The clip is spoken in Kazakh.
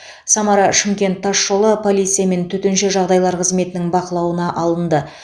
самара шымкент тасжолы полиция мен төтенше жағдайлар қызметінің бақылауына алынды